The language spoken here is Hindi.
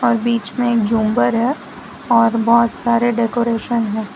और बीच में एक झूमर है और बहोत सारे डेकोरेशन है।